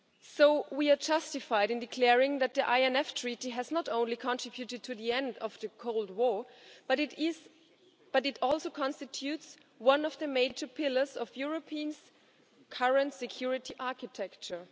So we are justified in declaring that the INF Treaty has not only contributed to the end of the Cold War, but it also constitutes one of the major pillars of European current security architecture.